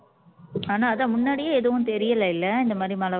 ஆனா அதான் முன்னாடியே எதுவும் தெரியலலைல்ல இந்த மாரி மழை